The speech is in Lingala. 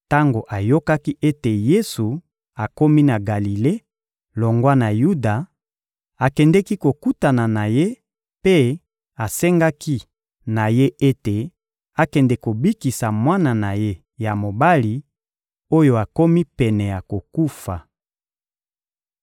Tango ayokaki ete Yesu akomi na Galile longwa na Yuda, akendeki kokutana na Ye mpe asengaki na Ye ete akende kobikisa mwana na ye ya mobali oyo akomi pene ya kokufa.